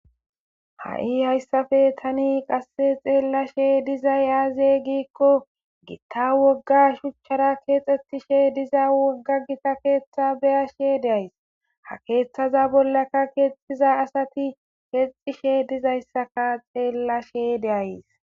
Hai hayisape ta xelashe dizayis aze giiko gitta woga shuchara kexetiza kexetishe diza woga kethati gitta ketha ha kethaza bolaka kexishe diza asati kexyisa xelashe de'ayis